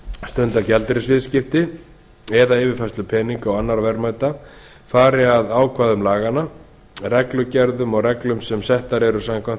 stunda gjaldeyrisviðskipti eða yfirfærslu peninga og annarra verðmæta fari að ákvæðum laganna reglugerðum og reglum sem settar eru samkvæmt